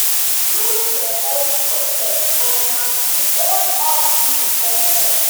Guilt dey heavy for chest, but na to own up be the first step.